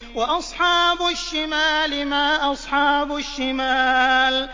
وَأَصْحَابُ الشِّمَالِ مَا أَصْحَابُ الشِّمَالِ